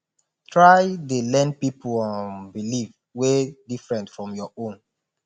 try dey learn pipol um belief wey different from yur own